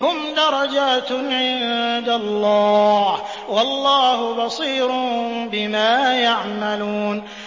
هُمْ دَرَجَاتٌ عِندَ اللَّهِ ۗ وَاللَّهُ بَصِيرٌ بِمَا يَعْمَلُونَ